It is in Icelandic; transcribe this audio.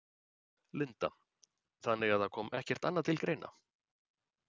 Linda: Þannig að það kom ekkert annað til greina?